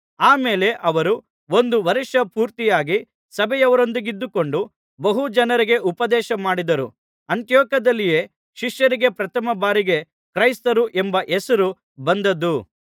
ಆಮೇಲೆ ಅವರು ಒಂದು ವರ್ಷ ಪೂರ್ತಿಯಾಗಿ ಸಭೆಯವರೊಂದಿಗಿದ್ದುಕೊಂಡು ಬಹು ಜನರಿಗೆ ಉಪದೇಶಮಾಡಿದರು ಅಂತಿಯೋಕ್ಯದಲ್ಲಿಯೇ ಶಿಷ್ಯರಿಗೆ ಪ್ರಥಮಬಾರಿಗೆ ಕ್ರೈಸ್ತರು ಎಂಬ ಹೆಸರು ಬಂದದ್ದು